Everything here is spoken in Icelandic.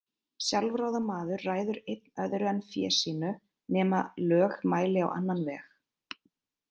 Sjálfráða maður ræður einn öðru en fé sínu, nema lög mæli á annan veg.